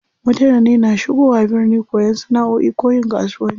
Mutane na shigowa birni koyan sana'oi ko yin kasuwanci.